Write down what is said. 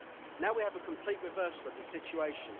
Now we have a complete reversal of the situation.